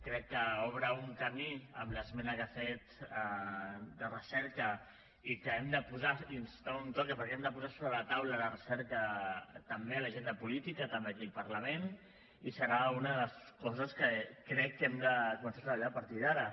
crec que obre un camí amb l’esmena que ha fet de recerca i que hem de donar un toc perquè hem de posar sobre la taula la recerca també a l’agenda política també aquí al parlament i serà una de les coses que crec que hem de començar a treballar a partir d’ara